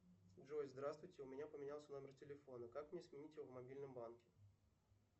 джой здравствуйте у меня поменялся номер телефона как мне сменить его в мобильном банке